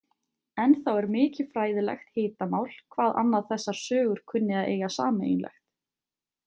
Ennþá er mikið fræðilegt hitamál hvað annað þessar sögur kunni að eiga sameiginlegt.